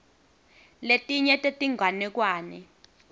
letinye tetinganekwane